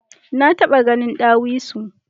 Na taba gahin dawisu.